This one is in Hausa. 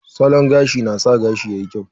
Salon gashi na sa gashi yayi kyau.